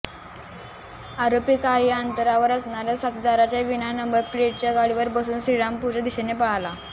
आरोपी काही अंतरावर असणाऱ्या साथिदाराच्या विना नंबर प्लेटच्या गाडीवर बसून श्रीरामपूरच्या दिशेने पळाला